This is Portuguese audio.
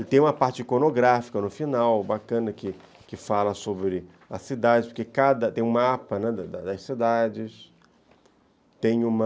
E tem uma parte iconográfica no final, bacana, que fala que fala sobre as cidades, porque tem um mapa das das cidades, tem uma...